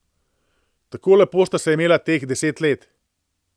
Tako lepo sta se imela teh deset let.